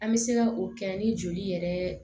An bɛ se ka o kɛ ni joli yɛrɛ